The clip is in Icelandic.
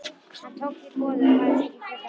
Hann tók því boði og hafðist ekki frekar að.